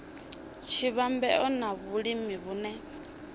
tshi vhambedzwa na vhulimi vhune